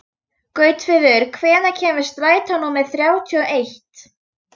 Gautviður, hvenær kemur strætó númer þrjátíu og eitt?